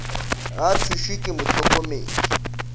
ga a thušwe ke mohlokomedi